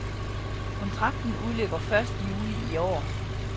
Kontrakten udløber første juli i år.